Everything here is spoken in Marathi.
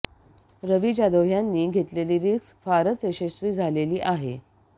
रवी जाधव ह्यांनी घेतलेली रिस्क फारच यशस्वी झालेली आहे